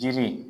Jiri